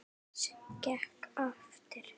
Sem gekk eftir.